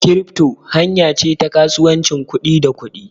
Kirifto hanya ce ta kasuwancin kuɗi da kuɗi.